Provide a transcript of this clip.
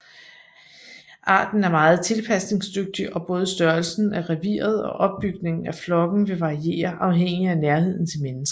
Arten er meget tilpasningsdygtig og både størrelsen af reviret og opbygningen af flokken vil variere afhængig af nærheden til mennesker